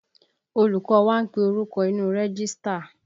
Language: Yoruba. Olùkọ́ wá ń pe orúkọ inu rẹ́gístà